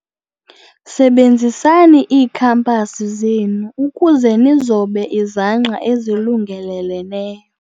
Sebenzisani iikhampasi zenu ukuze nizobe izangqa ezilungeleleneyo.